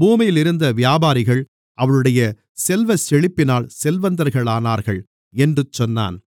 பூமியிலிருந்த வியாபாரிகள் அவளுடைய செல்வச்செழிப்பினால் செல்வந்தர்களானார்கள் என்று சொன்னான்